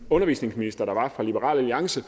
undervisningsminister der var fra liberal alliance